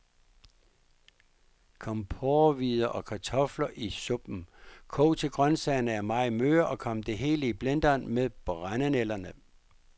Kom porrehvider og kartofler i suppen, kog til grøntsagerne er meget møre, og kom det hele i blenderen med brændenælderne.